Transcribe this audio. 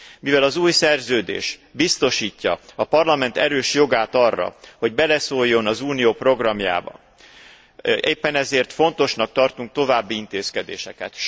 Mivel az új Szerződés biztosítja a Parlament erős jogát arra, hogy beleszóljon az Unió programjába, éppen ezért fontosnak tartunk további intézkedéseket.